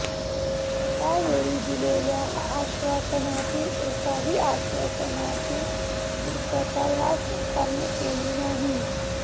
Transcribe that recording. त्यावेळी दिलेल्या आश्वासनांतील एकाही आश्वासनाची पुर्तता ह्या सरकारने केली नाही